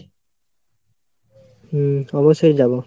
হুম অবশ্যই যাবো।